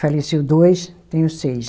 Faleceu dois, tenho seis.